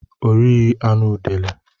Ọ righi anụ udele